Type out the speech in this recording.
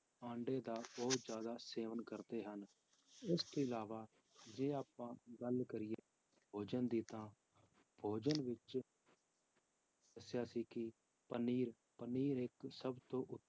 ਆਂਡੇ ਦਾ ਬਹੁਤ ਜ਼ਿਆਦਾ ਸੇਵਨ ਕਰਦੇ ਹਨ, ਇਸ ਤੋਂ ਇਲਾਵਾ ਜੇ ਆਪਾਂ ਗੱਲ ਕਰੀਏ ਭੋਜਨ ਦੀ ਤਾਂ ਭੋਜਨ ਵਿੱਚ ਦੱਸਿਆ ਸੀ ਕਿ ਪਨੀਰ, ਪਨੀਰ ਇੱਕ ਸਭ ਤੋਂ